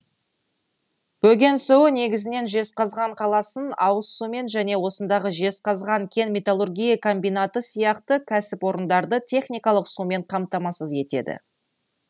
бөген суы негізінен жезқазған қаласын ауыз сумен және осындағы жезқазған кен металлургия комбинаты сияқты кәсіпорындарды техникалық сумен қамтамасыз етеді